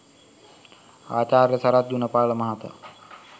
ආචාර්ය සරත් ගුණපාල මහතා